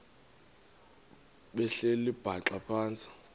behleli bhaxa phantsi